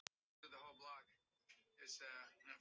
Meira að segja við Júlíu yngri.